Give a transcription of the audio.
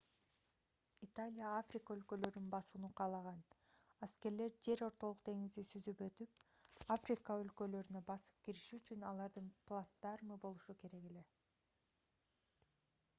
италия африка өлкөлөрүн басууну каалаган аскерлер жер ортолук деңизди сүзүп өтүп африка өлкөлөрүнө басып кириши үчүн алардын плацдармы болушу керек эле